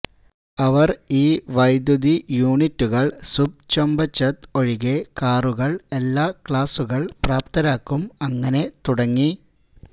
അവർ ഈ വൈദ്യുതി യൂണിറ്റുകൾ സുബ്ചൊംപച്ത് ഒഴികെ കാറുകൾ എല്ലാ ക്ലാസുകൾ പ്രാപ്തരാക്കും അങ്ങനെ തുടങ്ങി